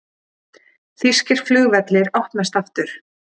Þýskir flugvellir opnast aftur